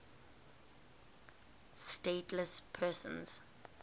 stateless persons